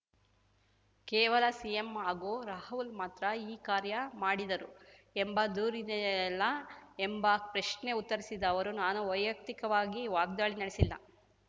ಕೇವಲ ಸಿಎಂ ಹಾಗೂ ರಾಹುಲ್‌ ಮಾತ್ರ ಈ ಕಾರ್ಯ ಮಾಡಿದರು ಎಂಬ ದೂರಿದೆಯಲ್ಲ ಎಂಬ ಪ್ರಶ್ನೆ ಉತ್ತರಿಸಿದ ಅವರು ನಾನು ವೈಯಕ್ತಿಕವಾಗಿ ವಾಗ್ದಾಳಿ ನಡೆಸಿಲ್ಲ